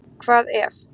Hvað ef?